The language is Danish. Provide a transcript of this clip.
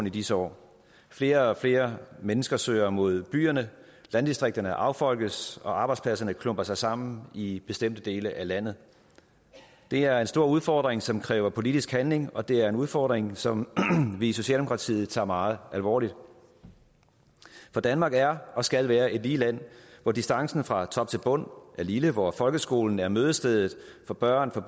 i disse år flere og flere mennesker søger mod byerne landdistrikterne affolkes og arbejdspladserne klumper sig sammen i bestemte dele af landet det er en stor udfordring som kræver politisk handling og det er en udfordring som vi i socialdemokratiet tager meget alvorligt for danmark er og skal være et lige land hvor distancen fra top til bund er lille hvor folkeskolen er mødestedet for børn af